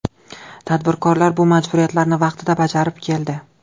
Tadbirkor bu majburiyatlarni vaqtida bajarib keldi.